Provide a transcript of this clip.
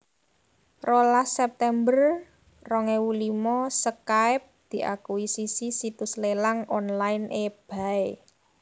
Rolas september rong ewu limo Skype diakusisi situs lélang online eBay